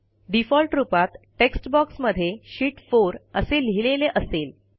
default रूपात text बॉक्समध्ये sheet 4 असे लिहिलेले असेल